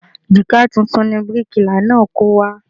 Jígà tuntun ni bíríkìlà náà kó wá